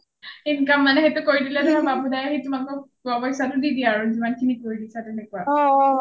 income মানে সেইটো কৰি দিলে ধৰা বাবু দাই আহি তোমালোকক হোৱা পইচাটো দি দিয়ে আৰু যিমান খিনি ধৰি দিচা তেনেকুৱা